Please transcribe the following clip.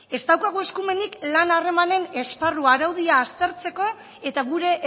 ez daukagu eskumenik lan harremanen esparru araudia aztertzeko eta gure